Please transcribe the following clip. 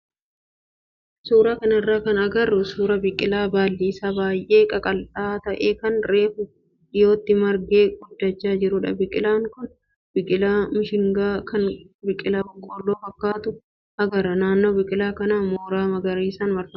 Suuraa kanarraa kan agarru suuraa biqilaa baalli isaa baay'ee qaqal'aa ta'ee kan reefu dhiyootti margee guddachaa jirudha. Biqilaan kun biqilaa mishingaa kan biqilaa boqqoolloo fakkaatu agarra. Naannoon biqilaa kanaa mooraa magariisaan marfameera.